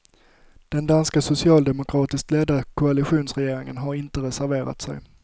Den danska socialdemokratiskt ledda koalitionsregeringen har inte reserverat sig.